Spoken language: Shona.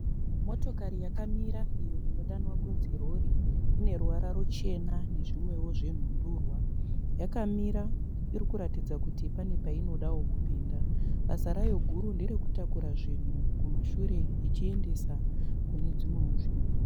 Motokari yakamira iyo inodanwa kunzi rori, ine ruvara ruchena nezvimwewo zvenhundurwa, yakamira iri kuratidza kuti pane painodawo kupinda. Basa rayo guru nderekutakura zvinhu kumashure ichiendesa kune dzimwewo nzvimbo.